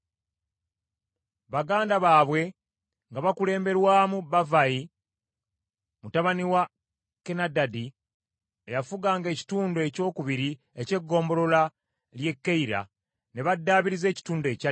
Baganda baabwe nga bakulemberwamu Bavvayi mutabani wa Kenadadi eyafuganga ekitundu ekyokubiri eky’egombolola ly’e Keyira ne baddaabiriza ekitundu ekyaddirira.